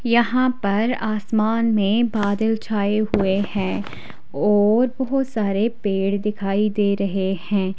यहां पर आसमान में बादल छाए हुए हैं और बहुत सारे पेड़ दिखाई दे रहे हैं।